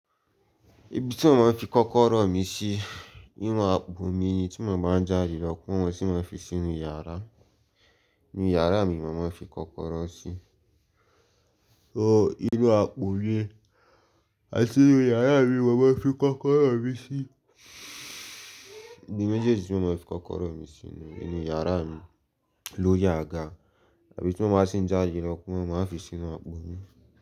Ibi tí mo máa ń fi kọ́kọ́rọ́ mi sí nínú àpò mi ni tí mo bá ń já lọ kí wón sì máa fi sínú yàrá, ni yàrá mi mo máa ń fi kọ́kọ́rọ́ sí. So inú àpò mi, àti inú yàrá mi mo máa ń fi kọ́kọ́rọ́ mi sì. Ibi mejeeji tí mo máa ń fi kọ́kọ́rọ́ mi sínú, inu yàrá mi lórí àga tàbí tí mo báa sì ń já lọ kí wón máa fi sínú àpò mi.